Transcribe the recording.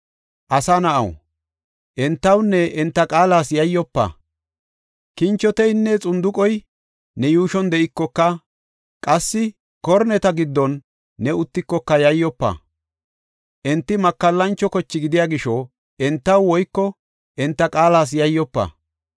Asa na7aw, entawunne enta qaalas yayyofa! Kinchoteynne xunduqey ne yuushon de7ikoka, qassi korneta giddon ne uttikoka yayyofa. Enti makallancho koche gidiya gisho entaw woyko enta qaalas yayyofa.